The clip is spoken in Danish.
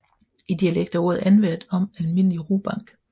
I dialekt er ordet anvendt om almindelig rubank